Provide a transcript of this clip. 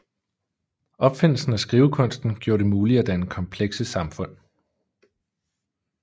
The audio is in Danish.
Opfindelsen af skrivekunsten gjorde det muligt at danne komplekse samfund